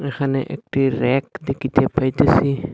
এহানে একটি ব়্যাক দেখিতে পাইতেছি।